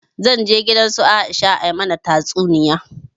Zan je gidan su Aisha a mana tatsuniya